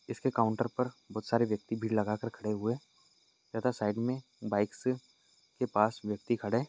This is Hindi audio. इसके काउंटर पर बहुत सारे व्यक्ती भीड लगा कर खडे हुए है तथा साइड में बाइक से के पास व्यक्ती खड़े--